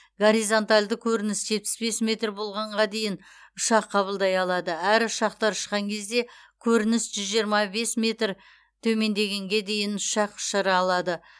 горизонтальді көрініс жетпіс бес метр болғанға дейін ұшақ қабылдай алады әрі ұшақтар ұшқан кезде көрініс жүз жиырма бес метр төмендегенге дейін ұшақ ұшыра алады